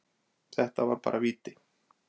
Þetta var bara víti.